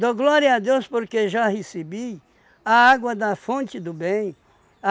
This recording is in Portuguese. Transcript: Dou glória a Deus porque já recebi a água da fonte do bem.